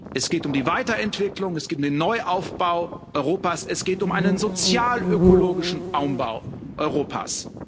Es geht um die Weiterentwicklung, es geht um den Neuaufbau Europas, es geht um einen sozialökologischen Umbau Europas.